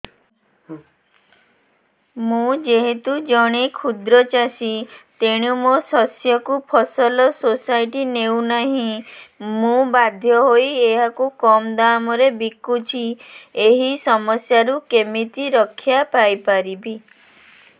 ମୁଁ ଯେହେତୁ ଜଣେ କ୍ଷୁଦ୍ର ଚାଷୀ ତେଣୁ ମୋ ଶସ୍ୟକୁ ଫସଲ ସୋସାଇଟି ନେଉ ନାହିଁ ମୁ ବାଧ୍ୟ ହୋଇ ଏହାକୁ କମ୍ ଦାମ୍ ରେ ବିକୁଛି ଏହି ସମସ୍ୟାରୁ କେମିତି ରକ୍ଷାପାଇ ପାରିବି